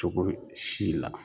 Cogo si la